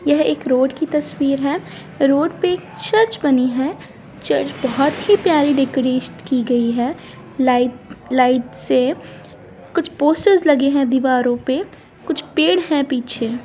यह एक रोड की तस्वीर है रोड पे चर्च बनी है चर्च बहुत ही प्यारी डेकोरेट की गई है लाइट-लाइट्स से कुछ पोस्टर लगी है दिवारों पेकुछ पेड़ है. पीछे--